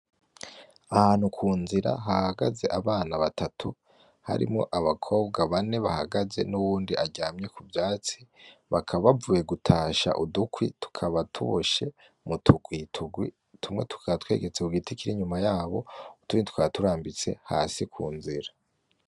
Ahantu ku nzira hahagaze abana batatu, harimwo abakobwa bane bahagaze n'uwundi aryamye ku vyatsi, bakaba bavuye gutasha udukwi, tukaba tuboshe mu tugwi tugwi tumwe tukaba twegetse ku giti kiri inyuma yabo; utundi tukaba turambitse hasi kunzira.